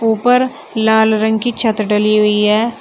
ऊपर लाल रंग की छत ढली हुई है।